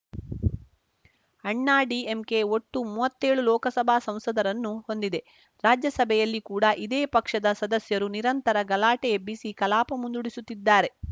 ಅಣ್ಣಾ ಡಿಎಂಕೆ ಒಟ್ಟು ಮೂವತ್ತೇಳು ಲೋಕಸಭಾ ಸಂಸದರನ್ನು ಹೊಂದಿದೆ ರಾಜ್ಯಸಭೆಯಲ್ಲಿ ಕೂಡ ಇದೇ ಪಕ್ಷದ ಸದಸ್ಯರು ನಿರಂತರ ಗಲಾಟೆ ಎಬ್ಬಿಸಿ ಕಲಾಪ ಮುಂದೂಡಿಸುತ್ತಿದ್ದಾರೆ